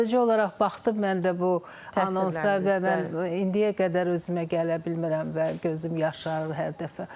Sadəcə olaraq baxdım mən də bu anonsa və mən indiyə qədər özümə gələ bilmirəm və gözüm yaşarır hər dəfə.